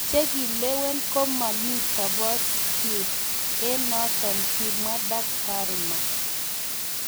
Che kilewen ko mami tobotiet eng notok,"kimwa Daktari Mark".